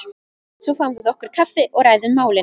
Svo fáum við okkur kaffi og ræðum málin.